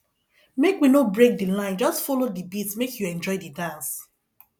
make we no break di line just folo di beat make you enjoy di dance